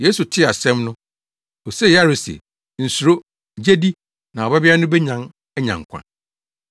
Yesu tee asɛm no osee Yairo se, “Nsuro, gye di, na wo babea no benyan anya nkwa.”